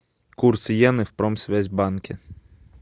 курс йены в промсвязьбанке